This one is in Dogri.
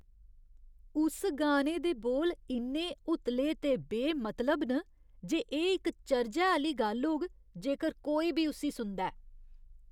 उस गाने दे बोल इन्ने उतले ते बेमतलब न जे एह् इक चर्जै आह्‌ली गल्ल होग जेकर कोई बी उस्सी सुनदा ऐ ।